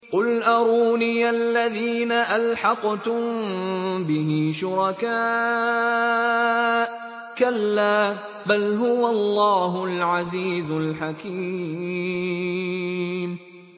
قُلْ أَرُونِيَ الَّذِينَ أَلْحَقْتُم بِهِ شُرَكَاءَ ۖ كَلَّا ۚ بَلْ هُوَ اللَّهُ الْعَزِيزُ الْحَكِيمُ